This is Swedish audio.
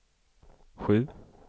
sju